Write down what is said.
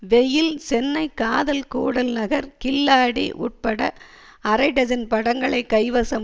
வெயில் சென்னை காதல் கூடல் நகர் கில்லாடி உட்பட அரைடஜன் படங்களை கைவசம்